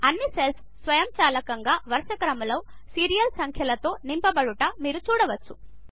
అన్నీ సెల్స్ స్వయంచాలకంగా వరుసక్రమంలో సీరియల్ సంఖ్యలతో నింపబడట మీరు చూడవచ్చు